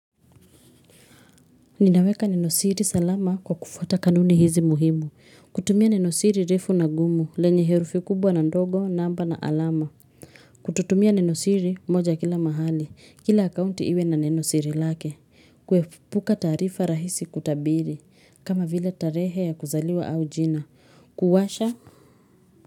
Ninaweka Nenosiri salama kwa kufuata kanuni hizi muhimu. Kutumia Nenosiri refu na gumu lenye herufi kubwa na ndogo, namba na alama. Kututumia Nenosiri moja kila mahali. Kila akaunti iwe na Nenosiri lake. Kuepuka taarifa rahisi kutabiri. Kama vile tarehe ya kuzaliwa au jina. Kuwasha.